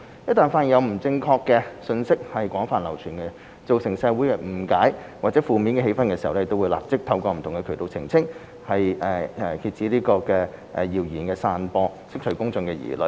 一旦發現有不正確信息廣泛流傳，造成社會誤解或負面氣氛時，會立即透過不同渠道澄清，以遏止謠言散播，釋除公眾疑慮。